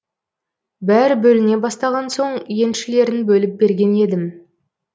бәрі бөліне бастаған соң еншілерін бөліп берген едім